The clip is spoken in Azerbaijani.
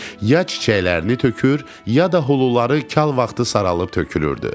Ya çiçəklərini tökür, ya da huluları kal vaxtı saralıb tökülürdü.